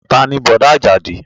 Taa ni Bọ̀dá Àjàdí?